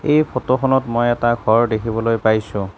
এই ফটো খনত মই এটা ঘৰ দেখিবলৈ পাইছোঁ।